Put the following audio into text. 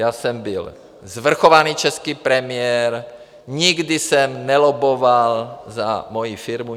Já jsem byl svrchovaný český premiér, nikdy jsem nelobboval za moji firmu.